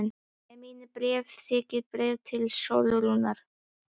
Með mínu bréfi var þykkt bréf til Sólrúnar.